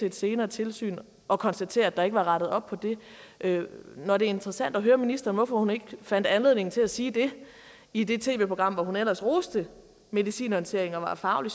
et senere tilsyn og konstatere at der ikke var rettet op på dem når det er interessant at høre ministeren hvorfor hun ikke fandt anledning til at sige det i det tv program hvor hun ellers roste medicinhåndteringen og var faglig